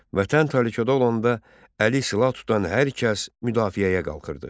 Vətən təhlükədə olanda əli silah tutan hər kəs müdafiəyə qalxırdı.